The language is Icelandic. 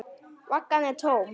Vaggan er tóm.